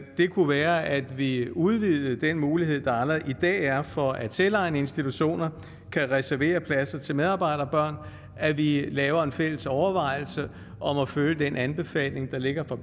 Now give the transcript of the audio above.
kunne være at vi udvidede den mulighed der allerede er i for at selvejende institutioner kan reservere pladser til medarbejderbørn at vi laver en fælles overvejelse om at følge den anbefaling der ligger fra